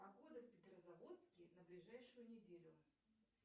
погода в петрозаводске на ближайшую неделю